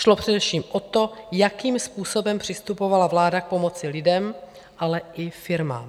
Šlo především o to, jakým způsobem přistupovala vláda k pomoci lidem, ale i firmám.